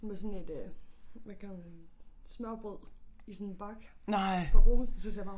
Med sådan et øh hvad kalder man smørrebrød i sådan bakke fra Brugsen så siger bare